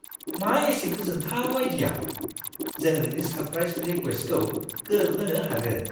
मा एसे गोजोनथाव आइडिया! जों नोंनि सारप्राइस रिक्वेस्टखौ गोरोबहोनो हागोन!